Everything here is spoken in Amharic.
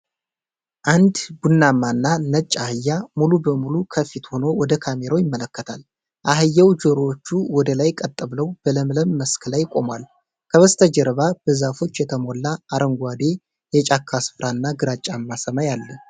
አንድ ቡናማና ነጭ አህያ ሙሉ በሙሉ ከፊት ሆኖ ወደ ካሜራው ይመለከታል። አህያው ጆሮዎቹ ወደ ላይ ቀጥ ብለው በለምለም መስክ ላይ ቆሟል፤ ከበስተጀርባ በዛፎች የተሞላ አረንጓዴ የጫካ ስፍራና ግራጫማ ሰማይ አለ።